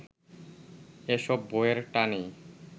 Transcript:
এসব বইয়ের টানেই